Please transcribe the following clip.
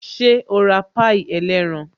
Ṣé o ra pie ẹlẹ́ran?